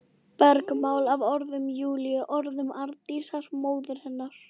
Bergmál af orðum Júlíu, orðum Arndísar, móður hennar.